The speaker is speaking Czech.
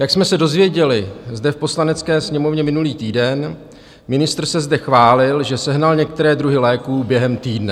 Jak jsem se dozvěděli zde v Poslanecké sněmovně minulý týden, ministr se zde chválil, že sehnal některé druhy léků během týdne.